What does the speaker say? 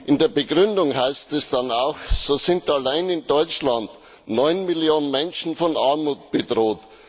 In der Begründung heißt es dann auch, allein in Deutschland seien 9 Millionen Menschen von Armut bedroht.